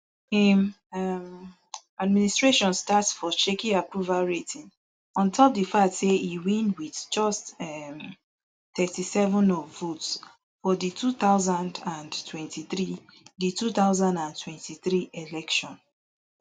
im um administration start for shaky approval rating on top di fact say e win wit just um thirty-seven of votes for di two thousand and twenty-three di two thousand and twenty-three election